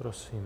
Prosím.